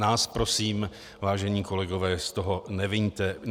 Nás prosím, vážení kolegové, z toho neviňte.